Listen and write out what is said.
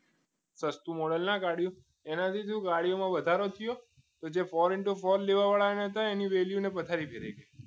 સસ્તુ modal ના કાઢ્યો એનાથીશુ ગાડીઓમાં વધારો થયો તો four into four લેવાડા હતા એની value ની પથારી ફેરવાઈ ગઈ